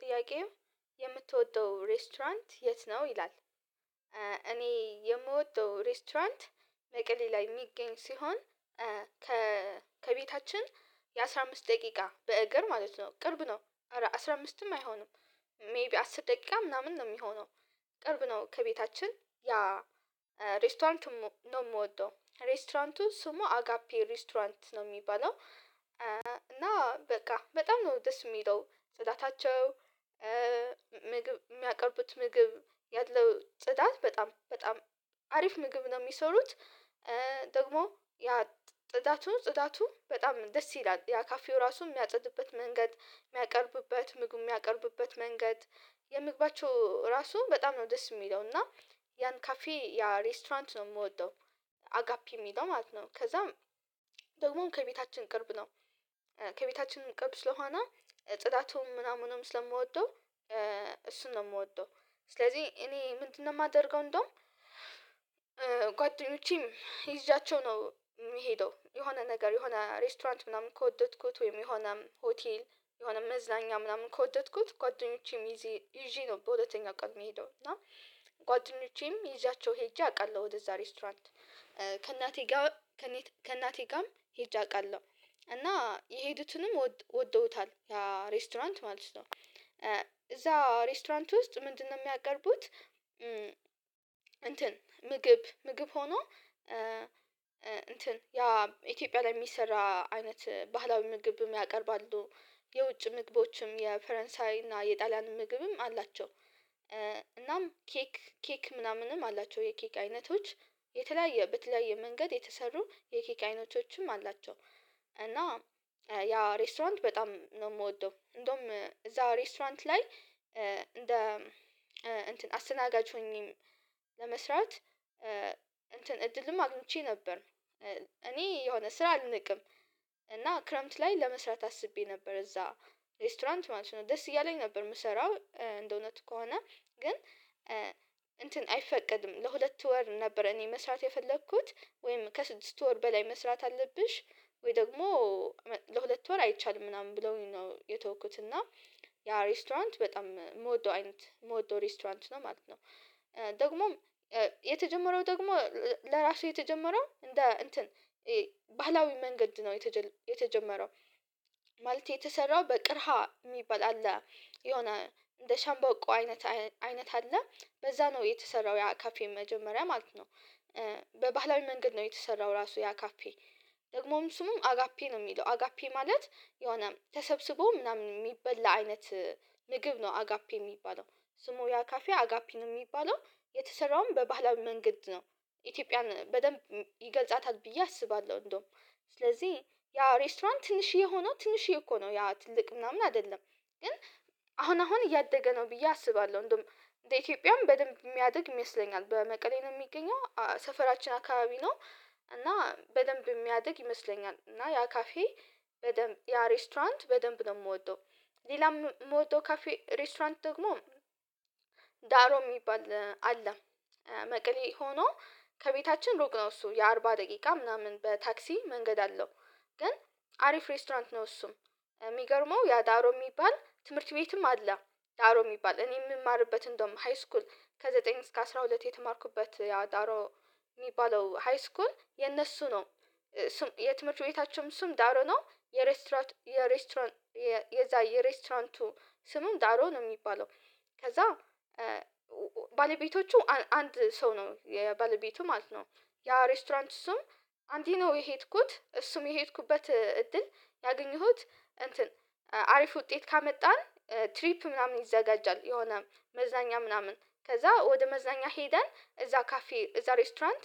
ጥያቄው የምትወደው ሬስቶራንት የት ነው ይላል እኔ የምወደው ሬስቶራንት መቀሌ ላይ የሚገኝ ሲሆን ከቤታችን የአስራ አምስት ደቂቃ በእግር ማለት ነው ቅርብ ነው ኧረ አስራ አምስትም አይሆንም ሜይቢ አስር ደቂቃ ምናምን ነው ሚሆነው ቅርብ ነው ከቤታችን ያ ሬስቶራንት ነው ምወደው ሬስቶራንቱ ስሙ አጋፔ ሬስቶራንት ነው። ሚባለው እና በቃ በጣም ነው ደስ ሚለው ጽዳታቸው የሚያቀርቡት ምግብ ያለው ጽዳት በጣም በጣም አሪፍ ምግብ ነው ሚሰሩት ደግሞ ያ ጥዳቱ ፅዳቱ በጣም ደስ ይላል ያ ካፌው ራሱ ሚያጸዱበት መንገድ የሚያቀርቡበት ምግብ የሚያቀርቡበት መንገድ የምግባቸው ራሱ በጣም ነው ደስ ሚለው እና ያን ካፌ ያ ሬስቶራንት ነው ምወደው አጋፔ ሚለው ማለት ነው። ከዛም ደግሞ ከቤታችን ቅርብ ነው ከቤታችንም ቅርብ ስለሆነ ፅዳቱም ምናምኑም ስለምወደው እሱን ነው ምወደው ስለዚህ እኔ ምንድነው ማደርገው እንደውም ጓደኞቼም ይዣቸው ነው ምሄደው የሆነ ነገር የሆነ ሬስቶራንት ምናምን ከወደድኩት ወይም የሆነ ሆቴል የሆነ መዝናኛ ምናምን ከወደድኩት ጓደኞቼም ይዤ ነው በሁለተኛ ቀን ምሄደው እና ጓደኞቼም ይዣቸው ሄጄ አውቃለሁ ወደዛ ሬስቶራንት ከእናቴ ጋር ከእናቴ ጋርም ሄጄ አውቃለሁ። እና የሄዱትንም ወደውታል ያ ሬስቶራንት ማለት ነው። እዛ ሬስቶራንት ውስጥ ምንድነው የሚያቀርቡት እንትን ምግብ ምግብ ሆኖ እንትን ያ ኢትዮጵያ ላይ የሚሰራ አይነት ባህላዊ ምግብም ያቀርባሉ። የውጭ ምግቦችም የፈረንሳይ እና የጣሊያንም ምግብም አላቸው እናም ኬክ ኬክ ምናምንም አላቸው የኬክ አይነቶች የተለያየ በተለያየ መንገድ የተሰሩ የኬክ አይነቶችም አላቸው እና ያ ሬስቶራንት በጣም ነው ምወደው እንደውም እዛው ሬስቶራንት ላይ እንደ እንትን አስተናጋጅ ሆኜ ለመስራት እንትን እድልም አግኝቼ ነበር እኔ የሆነ ስራ አልንቅም እና ክረምት ላይ ለመስራት አስቤ ነበር እዛ ሬስቶራንት ማለት ነው ደስ እያለኝ ነበር ምሰራው እንደእውነቱ ከሆነ ግን እንትን አይፈቀድም ለሁለት ወር ነበር እኔ መስራት የፈለኩት ወይም ከስድስት ወር በላይ መስራት አለብሽ ወይ ደግሞ ለሁለት ወር አይቻልም ምናምን ብለውኝ ነው የተውኩት እና ያ ሬስቶራንት በጣም ምወደው አይነት ምወደው ሬስቶራንት ነው ማለት ነው። ደግሞም የተጀመረው ደግሞ ለራሱ የተጀመረው እንደ እንትን ባህላዊ መንገድ ነው የተጀመረው ማለት የተሰራው በቅርሃ የሚባል አለ የሆነ እንደ ሸምበቆ አይነት አይነት አለ በዛ ነው የተሰራው ያ ካፌ መጀመሪያ ማለት ነው በባህላዊ መንገድ ነው የተሰራው ራሱ ያ ካፌ ደግሞም ስሙም አጋፔ ነው ሚለው አጋፔ ማለት የሆነ ተሰብስቦ ምናምን የሚበላ አይነት ምግብ ነው አጋፔ ሚባለው ስሙ ያካፌ አጋፔ ነው ሚባለው የተሰራውም በባህላዊ መንገድ ነው። ኢትዮጵያን በደንብ ይገልጻታል ብዬ አስባለሁ እንደውም ስለዚህ ያ ሬስቶራንት ትንሽዬ ሆኖ ትንሽዬ እኮ ነው ያ ትልቅ ምናምን አይደለም ግን አሁን አሁን እያደገ ነው ብዬ አስባለሁ እንደውም እንደ ኢትዮጵያም በደንብ ሚያድግ ይመስለኛል በመቀሌ ነው የሚገኘው ሰፈራችን አካባቢ ነው እና በደንብ ሚያድግ ይመስለኛል እና ያ ካፌ በደንብ ያ ሬስቶራንት በደንብ ነው ምወደው ሌላም ምወደው ካፌ ሬስቶራንት ደግሞ ዳሮ ሚባል አለ። መቀሌ ሆኖ ከቤታችን ሩቅ ነው እሱ የአርባ ደቂቃ ምናምን በታክሲ መንገድ አለው። ግን አሪፍ ሬስቶራንት ነው እሱም ሚገርመው ያ ዳሮ የሚባል ትምህርት ቤትም አለ ዳሮ ሚባል እኔ ምማርበት እንደውም ሃይስኩል ከዘጠኝ እስከ አስራ ሁለት የተማርኩበት ያው ዳሮ ሚባለው ሃይስኩል የነሱ ነው። የትምህርት ቤታቸውም ስም ዳሮ ነው የሬስቶራንት የሬስቶራንቱ የዛ የሬስቶራንቱ ስሙም ዳሮ ነው ሚባለው ከዛ ባለቤቶቹ አንድ ሰው ነው የባለቤቱ ማለት ነው ያ ሬስቶራንት እሱም አንዴ ነው የሄድኩት እሱም የሄድኩበት እድል ያገኘሁት እንትን አሪፍ ውጤት ካመጣን ትሪፕ ምናምን ይዘጋጃል የሆነ መዝናኛ ምናምን ከዛ ወደ መዝናኛ ሄደን እዛ ካፌ እዛ ሬስቶራንት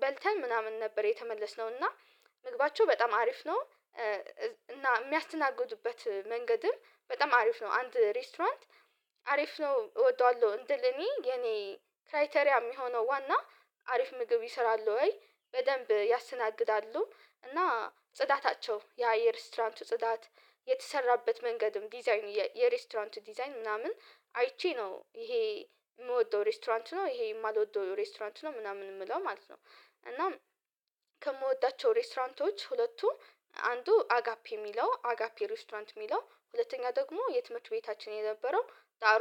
በልተን ምናምን ነበር የተመለስነው እና ምግባቸው በጣም አሪፍ ነው እና የሚያስተናግዱበት መንገድም በጣም አሪፍ ነው። አንድ ሬስቶራንት አሪፍ ነው እወደዋለሁ እንድል እኔ የኔ ክራይቴሪያ ሚሆነው ዋና አሪፍ ምግብ ይሰራል ወይ በደንብ ያስተናግዳሉ እና ጽዳታቸው ያ የሬስቶራንቱ ጽዳት የተሰራበት መንገድም ዲዛይን የሬስቶራንቱ ዲዛይን ምናምን አይቼ ነው ይሄ ምወደው ሬስቶራንት ነው ይሄ የማልወደው ሬስቶራንት ነው ምናምን ምለው ማለት ነው እናም ከምወዳቸው ሬስቶራንቶች ሁለቱ አንዱ አጋፔ ሚለው አጋፔ ሬስቶራንት ሚለው ሁለተኛ ደግሞ የትምህርት ቤታችን የነበረው ዳሮ